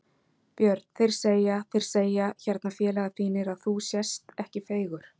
Björn: Þeir segja Þeir segja hérna félagar þínir að þú sést ekki feigur?